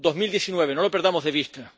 2019. No lo perdamos de vista.